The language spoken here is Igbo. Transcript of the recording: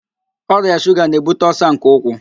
Ọrịa shuga na-ebute ọlsa nke ụkwụ